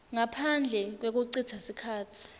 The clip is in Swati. ngaphandle kwekucitsa sikhatsi